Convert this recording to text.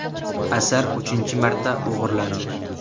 Asar uchinchi marta o‘g‘irlandi.